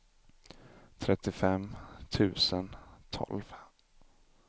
trettiofem tusen tolv